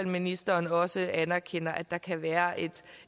ministeren også anerkender at der kan være